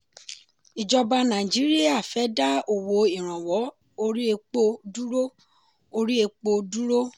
ìjọba nàìjíríà fẹ́ dá owó ìrànwọ́ orí epo dúró. orí epo dúró.